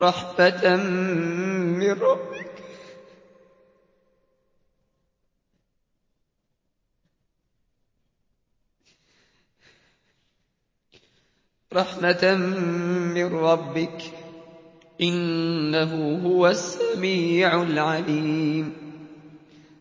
رَحْمَةً مِّن رَّبِّكَ ۚ إِنَّهُ هُوَ السَّمِيعُ الْعَلِيمُ